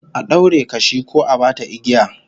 A daure kashi ko a bata igiya